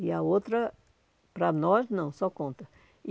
E a outra, para nós, não, só conta.